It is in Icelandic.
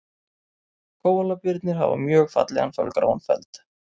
Kóalabirnir hafa mjög fallegan fölgráan feld.